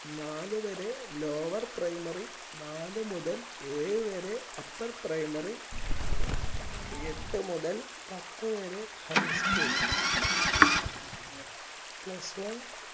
നാല് വരെ lower primary നാലു മുതൽ ഏഴ് വരെ upper primary എട്ട് മുതൽ പത്ത് വരെ high school plus one